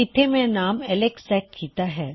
ਇੱਥੇ ਮੈਂ ਨੇਮ ਨੰ ਐੱਲਕਸ ਸੈਟ ਕੀੱਤਾ ਹੈ